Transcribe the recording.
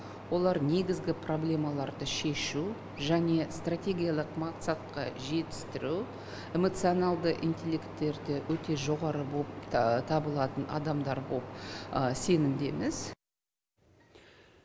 олар негізгі проблемаларды шешу және стратегиялық мақсатқа жетістіру эмоционалды интеллекттері өте жоғары боп табылатын адамдар боп сенімдеміз